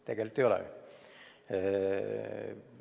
Tegelikult ei ole ju.